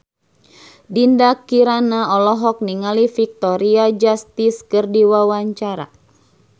Dinda Kirana olohok ningali Victoria Justice keur diwawancara